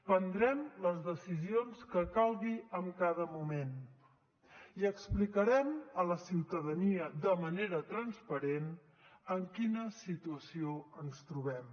prendrem les decisions que calgui en cada moment i explicarem a la ciutadania de manera transparent en quina situació ens trobem